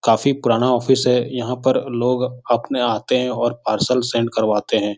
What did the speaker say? काफी पुराना ऑफिस है यहाँ पर लोग अपने आते हैं और पार्सल सेंड करवाते हैं।